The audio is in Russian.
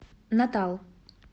натал